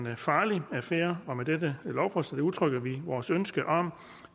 en farlig affære og med dette lovforslag udtrykker vi vores ønske om